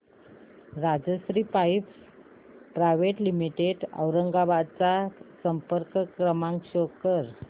Rajshri pipes private limited Aurangabad चा संपर्क क्रमांक शो कर